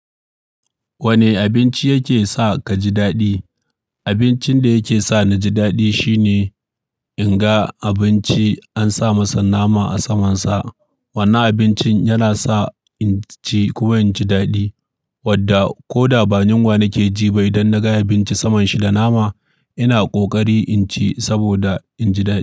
Wani abinci yake sa ka ji daɗi? Abincin da yake sa naji daɗi shine in ga abinci an sa masa nama a samansa. Wannan abincin yana sa in ci kuma in ji daɗi, wadda ko da ba yinwa na ke ji ba idan na ga abinci saman shi da nama, ina ƙoƙari in ci saboda in ji daɗi.